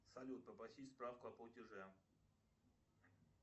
салют попросить справку о платеже